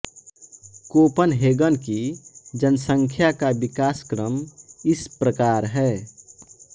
Copenhagen की जनसंख्या का विकासक्रम इस प्रकार है